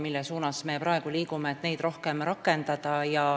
Me praegu liigume selles suunas, et neid rohkem rakendada.